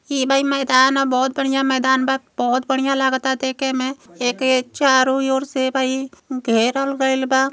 ये भाई मैदान ह। बहोत बढ़िया मैदान बा। बहुत बढ़िया लागता देख के में। एके चारों ओर से भई घेरल गईल बा।